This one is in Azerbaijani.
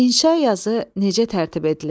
İnşa yazı necə tərtib edilir?